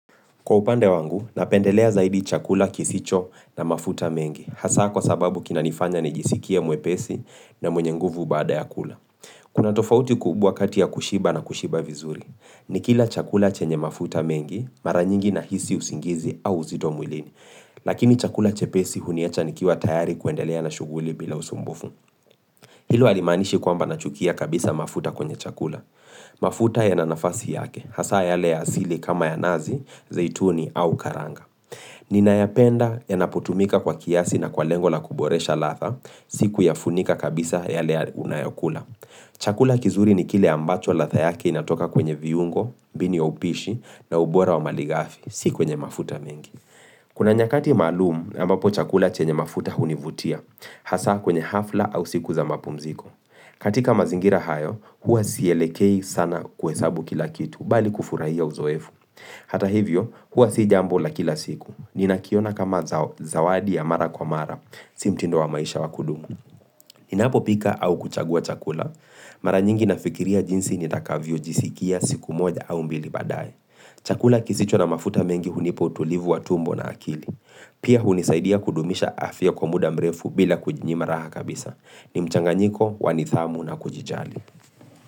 Kwa upande wangu, napendelea zaidi chakula kisicho na mafuta mengi, hasa kwa sababu kina nifanya nijisikie mwepesi na mwenye nguvu baada ya kula. Kuna tofauti kubwa kati ya kushiba na kushiba vizuri, nikila chakula chenye mafuta mengi, mara nyingi na hisi usingizi au uzito mwilini, lakini chakula chepesi huniacha nikiwa tayari kuendelea na shughuli bila usumbufu. Hilo halimaanishi kwamba nachukia kabisa mafuta kwenye chakula. Mafuta yana nafasi yake, hasa yale ya asili kama ya nazi, zaituni au karanga. Ninayapenda ya napotumika kwa kiasi na kwa lengo la kuboresha ladha, sikuya funika kabisa yale unayokula. Chakula kizuri ni kile ambacho ladha yake inatoka kwenye viungo, mbinu ya upishi na ubora wa maligafi, sikwenye mafuta mengi. Kuna nyakati maalum ambapo chakula chenye mafuta hunivutia, hasa kwenye hafla au siku za mapumziko. Katika mazingira hayo, huwa sielekei sana kuhesabu kila kitu, bali kufurahia uzoefu. Hata hivyo, huwa sijambo la kila siku. Nina kiona kama zawadi ya mara kwa mara, si mtindo wa maisha wa kudumu. Nina popika au kuchagua chakula. Mara nyingi nafikiria jinsi nitakavyo jisikia siku moja au mbili baadaye. Chakula kisicho na mafuta mengi hunipa utulivu wa tumbo na akili. Pia hunisaidia kudumisha afya kwa muda mrefu bila kujinyima raha kabisa. Ni mchanganyiko wanidhamu na kujijali.